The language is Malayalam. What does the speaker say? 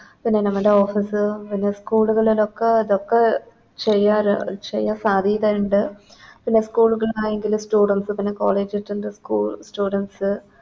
പിന്നെ നമ്മുടെ Office ഉം പിന്നെ School ലോക്കെ ഇതൊക്കെ ചെയ്യല് ചെയ്യാൻ സാധ്യത ഇണ്ട് പിന്നെ School പിന്നെ College school students